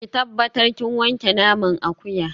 Ki tabbatar kin wanke naman akuya